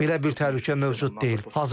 Belə bir təhlükə mövcud deyil.